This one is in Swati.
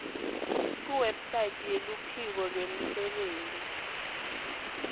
kuwebsite yeluphiko lwemisebenti